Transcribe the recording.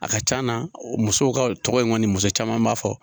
A ka can na musow ka tɔgɔ in kɔni muso caman b'a fɔ.